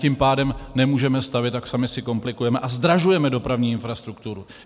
Tím pádem nemůžeme stavět a sami si komplikujeme a zdražujeme dopravní infrastrukturu.